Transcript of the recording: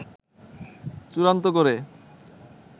চূড়ান্ত করে